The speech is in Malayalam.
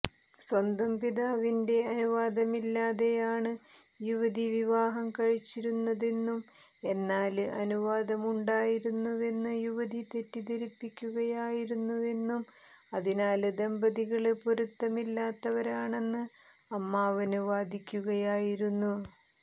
സ്വന്തം പിതാവിന്റെ അനുവാദമില്ലാതെയാണ് യുവതി വിവാഹം കഴിച്ചിരുന്നതെന്നും എന്നാല് അനുവാദമുണ്ടായിരുന്നുവെന്ന് യുവതി തെറ്റിദ്ധരിപ്പിക്കുകയായിരുന്നുവെന്നും അതിനാല് ദമ്പതികള് പൊരുത്തമില്ലാത്തവരാണെന്ന് അമ്മാവന് വാദിക്കുകയായിരുന്നു